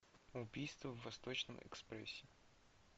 убийство в восточном экспрессе